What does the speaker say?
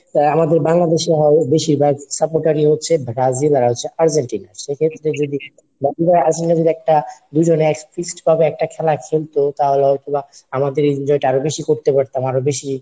আমাদের বাংলাদেশি হয় বেশিরভাগ supporter ই হচ্ছে বা ব্রাজিল আর হচ্ছে আর্জেন্টিনার। সেক্ষেত্রে আমরা যদি একটা দুজনে fixed ভাবে একটা খেলার খেলতো তাহলে হয়তো বা আমাদের এই enjoy টা আরো বেশি করতে পারতাম আরো বেশি,